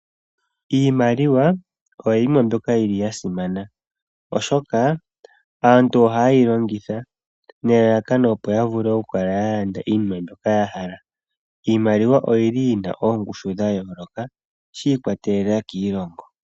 Iimaliwa oyo yimwe mbyoka yili ya simana oshoka aantu oha yeyi longitha nelalakano opo ya vule okukala ya landa iinima mbyoka ya hala. Iimaliwa oyi li yi na oongushu dha yooloka shiikwatelela kiilongo.